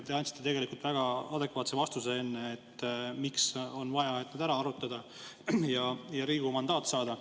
Te andsite enne väga adekvaatse vastuse, miks on vaja neid arutada ja Riigikogu mandaat saada.